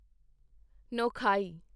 Nuakhai